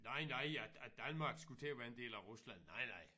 Nej nej at at Danmark skulle til at være en del af Rusland nej nej